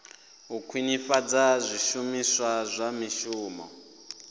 u khwinisa zwishumiswa zwa mishumo